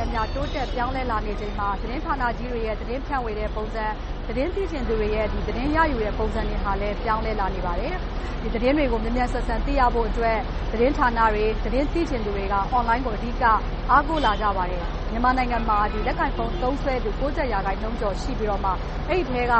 ဲ့အမျှ တိုးတက်ပြောင်းလဲလာချိန်မှာ သတင်းဌာနကြီးတွေရဲ့ သတင်းဖြန့်ဝေတဲ့ပုံစံ၊ သတင်းစီစဉ်သူတွေရဲ့ သတင်းရယူမှုပုံစံတွေလည်း ပြောင်းလဲလာနေပါတယ်။ ဒီသတင်းတွေကို မြန်မြန်ဆန်ဆန် သိရဖို့အတွက် သတင်းဌာနတွေ၊ သတင်းသိချင်သူတွေက Online ကို အဓိက အားကိုးလာကြပါတယ်။ မြန်မာနိုင်ငံမှာ လက်ကိုင်ဖုန်း သုံးစွဲသူ ရာခိုင်နှုန်းကျော်ရှိပြီး အဲဒီအထဲက